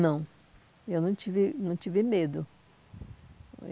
Não, eu não tive não tive medo.